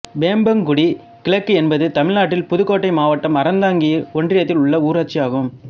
வேம்பங்குடி கிழக்கு என்பது தமிழ்நாட்டில் புதுக்கோட்டை மாவ்ட்டம் அறந்தாங்கி ஒன்றியத்தில் உள்ள ஊராட்சி ஆகும்